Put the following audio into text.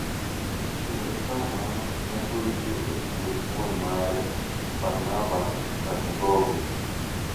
kendo kar mano, ne oyike e puoth wuon mare, Barnaba Kangogo.